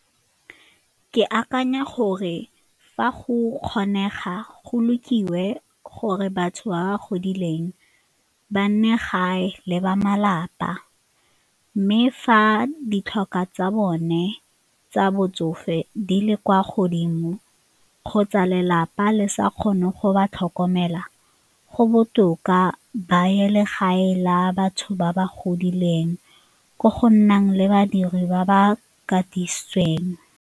Ke akanya gore fa go kgonega go gore batho ba ba godileng ba nne gae le ba malapa mme fa ditlhokwa tsa bone tsa botsofe di le kwa godimo kgotsa lelapa le sa kgone go ba tlhokomela, go botoka ba ye legae la batho ba ba godileng ko go nnang le badiri ba ba katisitsweng.